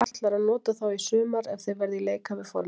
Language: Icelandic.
Hvar ætlarðu að nota þá í sumar ef þeir verða í leikhæfu formi?